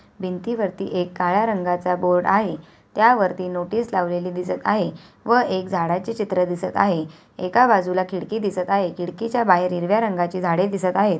भिंतीवरती एक काळ्या रंगाचा बोर्ड आहे त्यावरती नोटीस लावलेली दिसत आहे व एक झाडाचे चित्र दिसत आहे एका बाजूला खिडकी दिसत आहे खिडकीच्या बाहेर हिरव्या रंगाचे झाडे दिसत आहे.